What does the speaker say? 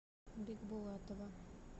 бикбулатова